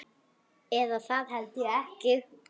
Eða það held ég ekki.